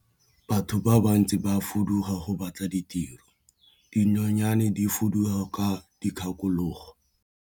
Batho ba bantsi ba fuduga go batla tiro, dinonyane di fuduga ka dikgakologo.